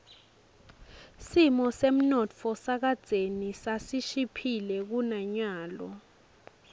simo semnotfo kadzeni sasishiphile kunanyalo